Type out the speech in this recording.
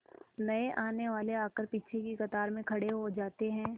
नए आने वाले आकर पीछे की कतार में खड़े हो जाते हैं